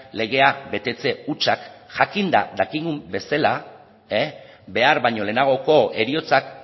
legea betetze hutsak jakinda dakigun bezala behar baino lehenagoko heriotzak